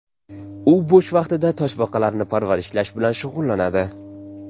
U bo‘sh vaqtida toshbaqalarni parvarishlash bilan shug‘ullanadi.